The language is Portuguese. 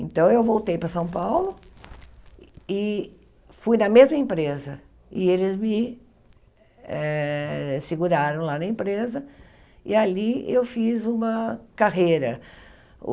Então eu voltei para São Paulo e fui na mesma empresa e eles me eh seguraram lá na empresa e ali eu fiz uma carreira.